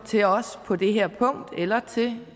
til os på det her punkt eller til